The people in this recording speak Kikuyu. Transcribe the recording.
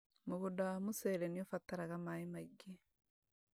Mũgũnda wa mũcere nĩũbataraga maĩ maingĩ